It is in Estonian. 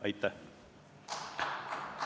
Aitäh!